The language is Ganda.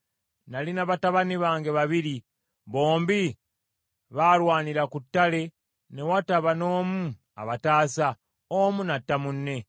Nalina batabani bange babiri. Bombi baalwanira ku ttale ne wataba n’omu abataasa, omu n’atta munne.